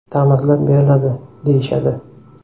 Ta’mirlab beriladi, deyishadi.